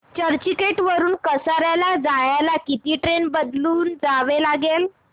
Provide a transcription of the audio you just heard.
चर्चगेट वरून कसारा जायला किती ट्रेन बदलून जावे लागेल